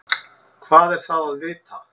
Hvað er það að vita?